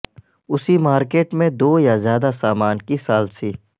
اسی مارکیٹ میں دو یا زیادہ سامان کی ثالثی